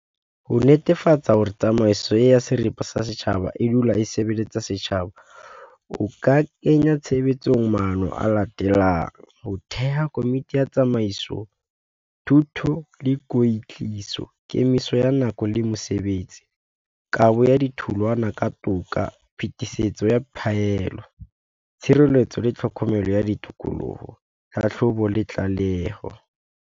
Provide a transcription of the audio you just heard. Ho netefatsa hore tsamaiso ya seripe sa setjhaba, e dula e sebeletse setjhaba. O ka kenya tshebetsong maano a latelang, ho theha komiti ya tsamaiso, thuto le kwetliso, kemiso ya nako le mosebetsi, kabo ya ditholwana ka toka, phetisetso ya phaelo tshireletso le tlhokomelo ya ditokoloho, tlhahlobo le tlaleho.